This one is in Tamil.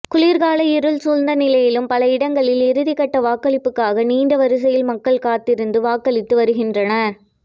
குளிர்கால இருள் சூழ்ந்த நிலையிலும் பலஇடங்களில் இறுதிக்கட்ட வாக்களிப்புக்காக நீண்டவரிசையில் மக்கள் காத்திருந்து வாக்களித்து வருகின்றனர்